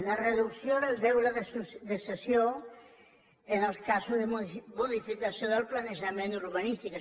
la reducció del deure de cessió en els casos de modificació del planejament urbanístic